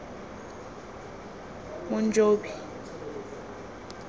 monjobi